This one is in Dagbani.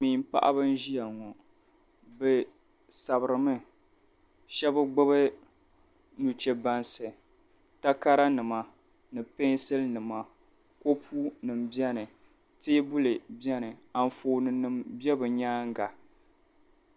Silimiim paɣiba n-ʒia ŋɔ bɛ sabiri mi shɛba gbibi nuchɛbansi takaranima ni pɛnsilinima kopunima beni teebuli beni anfoonnima be bɛ nyaaŋga.